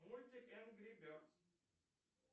мультик энгри бердс